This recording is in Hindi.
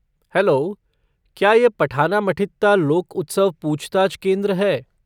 हैलो, क्या ये पठनामठित्ता लोक उत्सव पूछताछ केंद्र है?